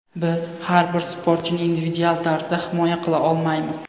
Biz har bir sportchini individual tarzda himoya qila olmaymiz.